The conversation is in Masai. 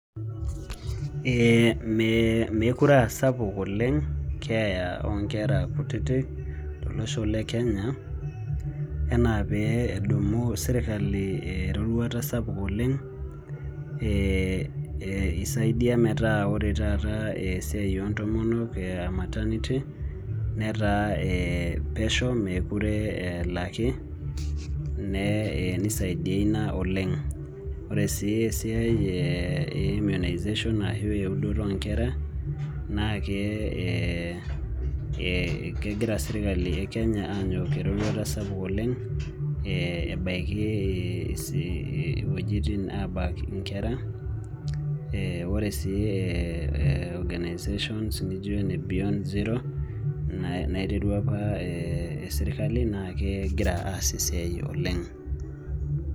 Ee mekure asapuk oleng keeya onkera kutitik tolosho le Kenya, enaa pee edumu sirkali eroruata sapuk oleng, isaidia metaa ore taata esiai ontomonok maternity, netaa pesho mekure elaki, nisaidia ina oleng. Ore si esiai e immunisation ashu eudoto onkera, naake kegira sirkali e Kenya anyok eroruata sapuk oleng, ebaiki wuejiting abak inkera, ore si organisations nijo ene Beyond Zero, naiterua apa sirkali naa kegira aas esiai oleng.